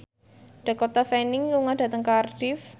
Dakota Fanning lunga dhateng Cardiff